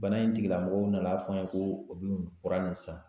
Bana in tigila mɔgɔw nan'a fɔ n ye ko u bi nin fura nin san.